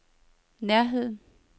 nærheden